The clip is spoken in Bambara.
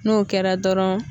N'o kɛra dɔrɔn.